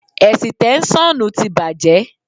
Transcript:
Ẹ̀sìtẹ́ṣọ́nù ti bàjẹ́.